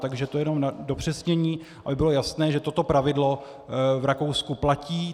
Takže to jenom na upřesnění, aby bylo jasné, že toto pravidlo v Rakousku platí.